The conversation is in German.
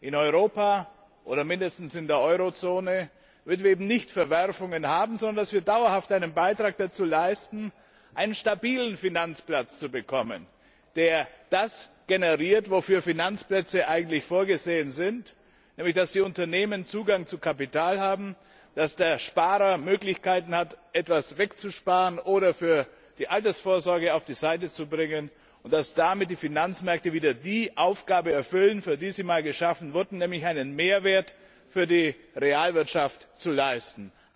In Europa oder zumindest in der Eurozone hätten wir eben keine Verwerfungen, sondern wir würden dauerhaft einen Beitrag dazu leisten, einen stabilen Finanzplatz zu bekommen, der das generiert, wofür Finanzplätze eigentlich vorgesehen sind, nämlich dass die Unternehmen Zugang zu Kapital haben, dass der Sparer Möglichkeiten hat, etwas zu sparen oder für die Altersvorsorge auf die Seite zu legen, und dass damit die Finanzmärkte wieder die Aufgabe erfüllen, für die sie einst geschaffen wurden, nämlich einen Mehrwert für die Realwirtschaft zu leisten.